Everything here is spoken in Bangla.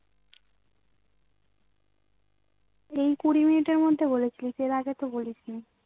এই কুঁড়িমিনিট এর মধ্যে বলিছিলিস আগে তো বলিসনি